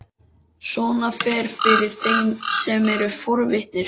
Svona fer fyrir þeim sem eru forvitnir.